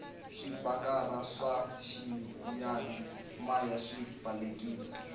swipikara swa xiyani maya swi balekile